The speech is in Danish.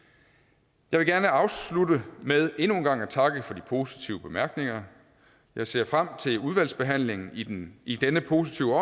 jeg vil gerne afslutte med endnu en gang at takke for de positive bemærkninger jeg ser frem til udvalgsbehandlingen i denne i denne positive